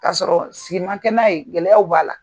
K'a sɔrɔ sigi ma kɛ n'a ye gɛlɛyaw b'a la.